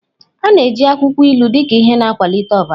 A na-eji akwụkwọ ilu dị ka ihe na-akwalite ọbara.